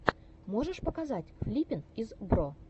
можешь показать флиппин из бро